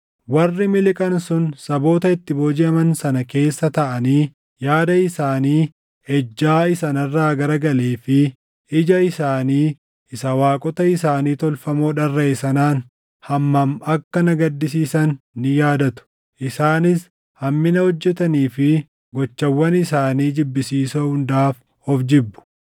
Warri miliqan sun saboota itti boojiʼaman sana keessa taaʼanii yaada isaanii ejjaa isa narraa garagalee fi ija isaanii isa waaqota isaanii tolfamoo dharraʼe sanaan hammam akka na gaddisiisan ni yaadatu. Isaanis hammina hojjetanii fi gochawwan isaanii jibbisiisoo hundaaf of jibbu.